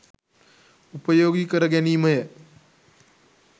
උපයෝගී කර ගැනීමය.